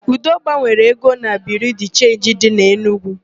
Udo gbanwere ego na Biriu de Chenji dị n'Enugu.